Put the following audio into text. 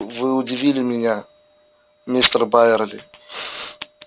вы удивили меня мистер байерли